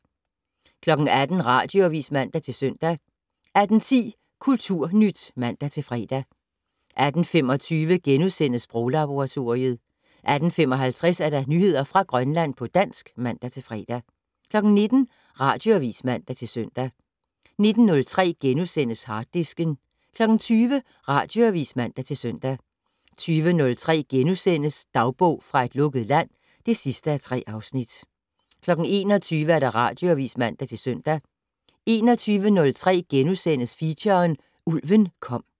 18:00: Radioavis (man-søn) 18:10: Kulturnyt (man-fre) 18:25: Sproglaboratoriet * 18:55: Nyheder fra Grønland på dansk (man-fre) 19:00: Radioavis (man-søn) 19:03: Harddisken * 20:00: Radioavis (man-søn) 20:03: Dagbog fra et lukket land (3:3)* 21:00: Radioavis (man-søn) 21:03: Feature: Ulven kom *